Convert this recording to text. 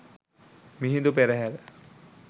Mihindu Perahera